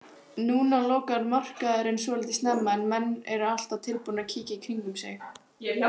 Núna lokar markaðurinn svolítið snemma en menn eru alltaf tilbúnir að kíkja í kringum sig.